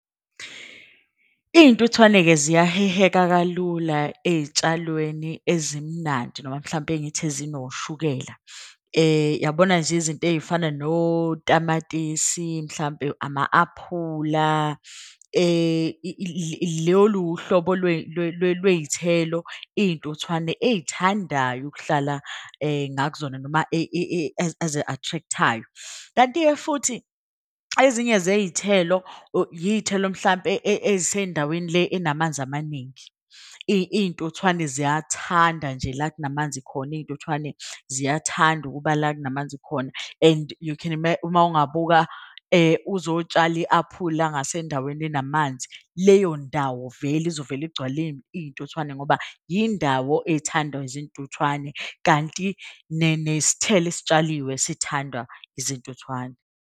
Iy'ntuthwane-ke ziyaheheka kalula ey'tshalweni ezimnandi noma mhlampe ngithi ezinoshukela. Yabona nje izinto ey'fana notamatisi, mhlampe ama-aphula . Lolu uhlobo lwey'thelo iy'ntuthwane ey'thandayo ukuhlala noma ezi-attract-ayo. Kanti-ke futhi ezinye zey'thelo, iy'thelo mhlampe ey'sendaweni le enamanzi amaningi. Iy'ntuthwane ziyathanda nje la kunamanzi khona, iy'ntuthwane ziyathanda ukuba la kunamanzi khona. Uma wungabuka uzotshala i-aphula ngasendaweni enamanzi. Leyo ndawo vele izovele igcwale iy'ntuthwane ngoba yindawo ethandwa izintuthwane. Kanti nesithelo esitshaliwe sithandwa izintuthwane.